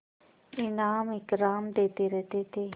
इनाम इकराम देते रहते थे